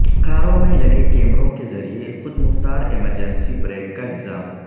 کاروں میں لگے کیمروں کے ذریعہ خود مختار ایمرجنسی بریک کا نظام